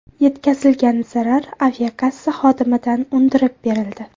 Yetkazilgan zarar aviakassa xodimidan undirib berildi.